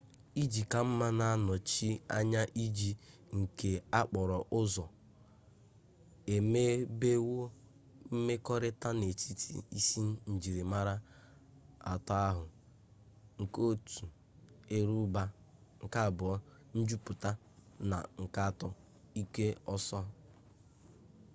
iji ka mma na-anọchi anya ije nke okporo ụzọ e mebewo mmekọrịta n'etiti isi njirimara atọ ahụ: 1 eruba 2 njupụta na 3 ike ọsọ